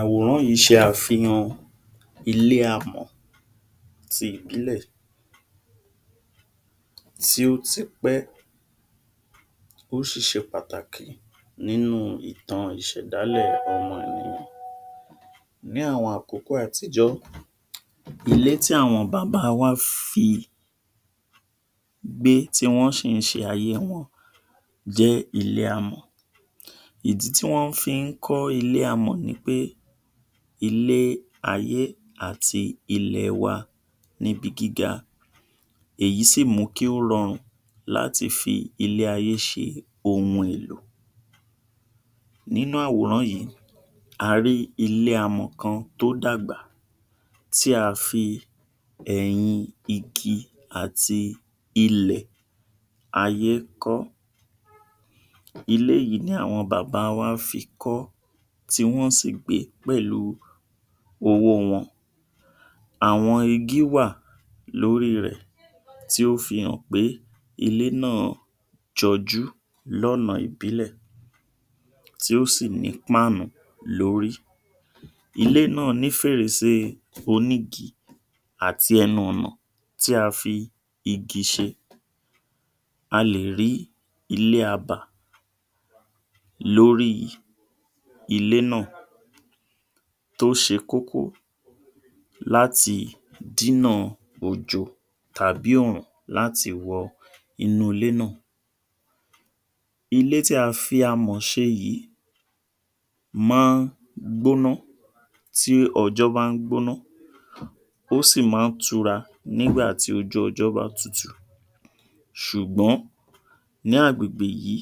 Àwòrán yìí ṣe àfihàn ilé amọ̀ ti ìbílẹ̀ tí ó ti pẹ́. Ó ṣì ṣe pàtàkì nínú ìtàn ìṣèdálẹ̀ ọmọ Yorùbá. Ní àwọn àkókò àtijọ́, ilé tí àwọn bàbá wa fi gbé tí wọ́n ṣì ń ṣe ayé wọn jẹ́ ilé amọ̀. Ìdí tí wọ́n fi ń kọ́ ilé amò nipé ilé ayé àti ilẹ̀ẹwa níbi gíga. Èyí sì mú kí ó rọrùn láti fi ilé ayé ṣe ohun èlò. Nínú àwòrán yìí, a rí ilé amọ̀ kan tó dàgbà tí a fi ẹ̀yin igi àti ilẹ̀ ayé kọ́. Ilé yìí ni àwọn bàba wa fi kọ́ tí wọ̀n sì gbèé pẹ̀lú owóo wọn. Àwọn igi wà lóri rẹ̀ tí ó fihàn pé ilé náà jọjú lọ́na ìbílẹ̀ tí ó sì ní páànù lórí. Ilé náà ní fèrèsé onígi àti ẹnu ọ̀nà tí a fi igi ṣe. A lè rí ilé abà lórí ilé náà tó ṣe kókó láti dínà òjò tàbí òrùn láti wọ inúulé náà. Ilé tí a fi amọ̀ ṣe yìí máa gbóná tí ọjọ́ bá ń gbóná ó sì máa ń tura nígbà tí ojú ọjọ́ bá tutù ṣùgbọ́n ní àgbègbè yìí